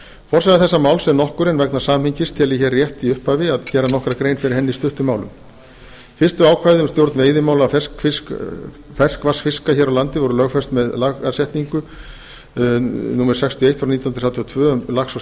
forsaga þessa máls er nokkur en vegna samhengis tel ég rétt hér í upphafi að gera nokkra grein fyrir henni í stuttu máli fyrstu ákvæði um stjórn veiðimála ferskvatnsfiska hér á landi voru lögfest með setningu laga númer sextíu og eitt nítján hundruð þrjátíu og tvö um lax og